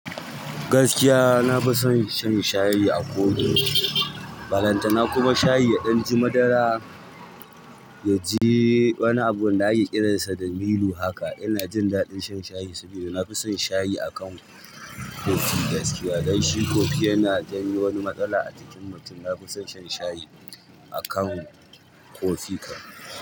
Gaskiya nafison shan sayi a kofi balantan shayi a kofi madara. Yanzu wani abu da ake kiransa da milo haka, ina jin daɗin shan shayi saboda nafison shayi akan kofi gaskiya. Dan shi kofi yana janyo wani matsala a jikin mutum. Nafison shan shayi akan kofi kam.